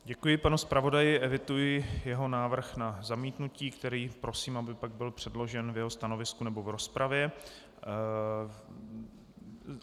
Děkuji panu zpravodaji, eviduji jeho návrh na zamítnutí, který prosím, aby pak byl předložen v jeho stanovisku nebo v rozpravě.